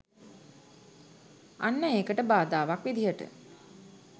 අන්න ඒකට බාධාවක් විදිහට